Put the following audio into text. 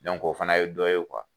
o fana ye dɔ ye